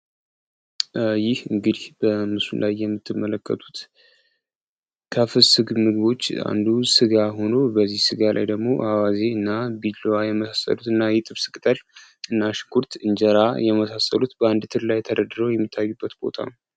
ይህ እንግዲህ በምሱን ላይ የምትመለከቱት ከፍስግ ምግቦች አንዱ ስጋ ሆኖ በዚህ ሥጋ ላይ ደግሞ አዋዜ እና ቢሎዋ የመሳሰዱት እና ይጥብስክተል እና ሽኩርት እንጀራ የመሳሰሉት በአንድ ትል ላይ ተረድረው ይሚታዩ ቦታ ነው፡፡